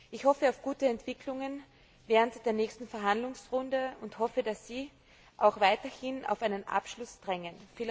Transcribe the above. Ich hoffe auf gute Entwicklungen während der nächsten Verhandlungsrunde und darauf, dass Sie auch weiterhin auf einen Abschluss drängen.